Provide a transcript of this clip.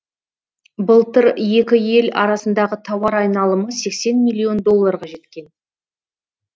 былтыр екі ел арасындағы тауар айналымы сексен миллион долларға жеткен